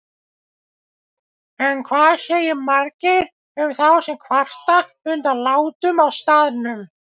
En hvað segir Margeir um þá sem kvarta undan látum á staðnum?